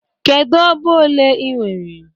Kedu ọba ole ị nwere?